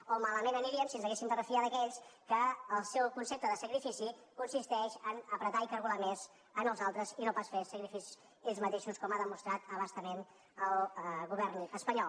o malament aniríem si ens haguéssim de refiar d’aquells que el seu concepte de sacrifici consisteix a collar i cargolar més els altres i no pas fer sacrificis ells mateixos com ha demostrat a bastament el govern espanyol